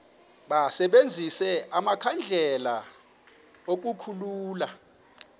basebenzise amakhandlela ukukhulula